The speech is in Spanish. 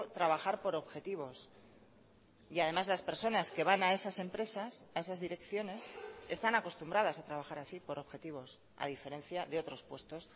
trabajar por objetivos y además las personas que van a esas empresas a esas direcciones están acostumbradas a trabajar así por objetivos a diferencia de otros puestos